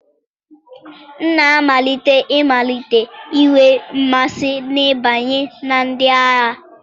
M na-amalite ịmalite inwe mmasị n'ịbanye na ndị agha.